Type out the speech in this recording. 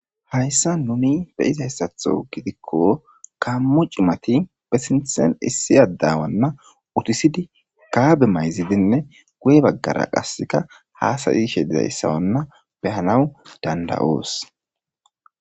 Hayssa numi beyizayssatho gidikko kammu cimati pesintsen issiyadawanna utisidi kaabe mayzidinne guye baggara qasseka haasayi shedizayssawanna behanawu danda,oos.